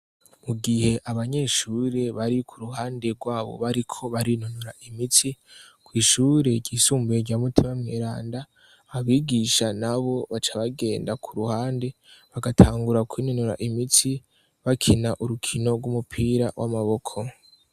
Mu gihe abanyeshure bari ku ruhande rwaho bariko barinonora imitsi, kw'ishure ryisumbuye rya mutima mweranda, abigisha nabo baca bagenda ku ruhande bagatangura kw'inonora imitsi, bakina urukino rw'umupira w'amaboko.